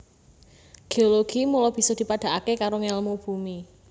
Géologi mula bisa dipadhakaké karo ngèlmu bumi